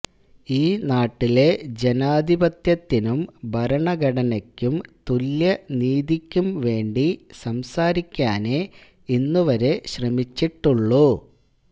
ഈ നാട്ടിലെ ജനാധിപത്യത്തിനും ഭരണഘടനക്കും തുല്യനീതിക്കും വേണ്ടി സംസാരിക്കാനേ ഇന്നുവരെ ശ്രമിച്ചിട്ടുള്ളൂ